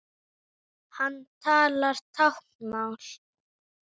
Hann talar táknmál.